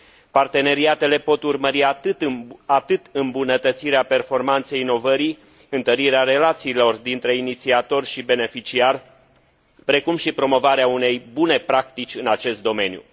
Parteneriatele pot urmări atât îmbunătățirea performanței inovării, întărirea relațiilor dintre inițiator și beneficiar, precum și promovarea unei bune practici în acest domeniu.